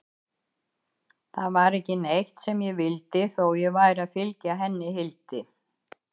Það var ekki neitt sem ég vildi, þó ég væri að fylgja henni Hildi.